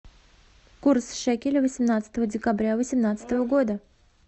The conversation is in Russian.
курс шекеля восемнадцатого декабря восемнадцатого года